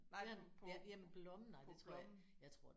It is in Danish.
Nej på blommen